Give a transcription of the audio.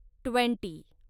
twenty